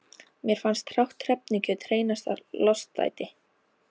Mér fannst hrátt hrefnukjöt hreinasta lostæti.